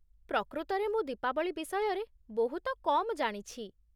ପ୍ରକୃତରେ, ମୁଁ ଦୀପାବଳି ବିଷୟରେ ବହୁତ କମ୍ ଜାଣିଛି ।